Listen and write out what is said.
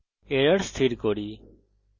এখন error স্থির করি